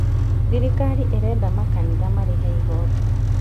Thirikari ĩrenda makanitha marĩhe igoti